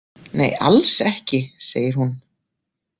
Nei, alls ekki, segir hún.